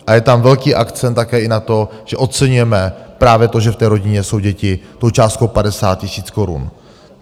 A je tam velký akcent také i na to, že oceňujeme právě to, že v té rodině jsou děti, tou částkou 50 000 korun.